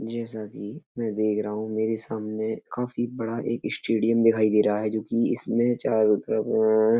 ये सभी मैं देख रहा हूँ। मेरे सामने काफ़ी बड़ा एक स्टेडियम दिखाई दे रहा है जो कि इसमे चारो तरफ आ --